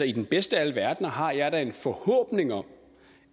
i den bedste af alle verdener har jeg da en forhåbning om